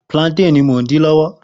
Plantain ni mo n din-din